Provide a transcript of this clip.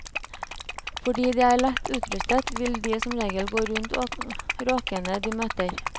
Fordi de er lett utrustet vil de som regel gå rundt råkene de møter.